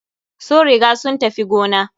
Sun riga sun tafi gona.